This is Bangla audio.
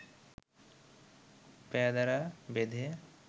পেয়াদারা বেঁধে